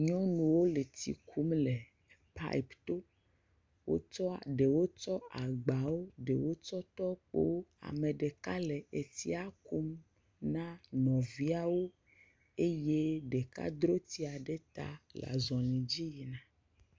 Nyɔnuwo le tsi kum le paipto, wotsɔ ɖewo tsɔ agbawo, ɖewo tsɔ tɔkpowo, ame ɖeka le etsia kum na nɔviawo eye ɖeka dro tsia ɖe ta le azɔli dzi yina.